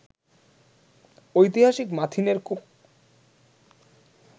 ঐতিহাসিক মাথিনের কূপ